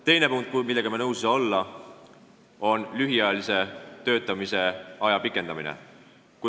Teine punkt, millega me nõus ei saa olla, on lühiajalise töötamise aja pikendamine.